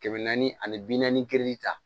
Kɛmɛ naani ani bi naani kiri ta